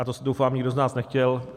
A to, doufám, nikdo z nás nechtěl.